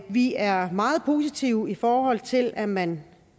vi er meget positive i forhold til at man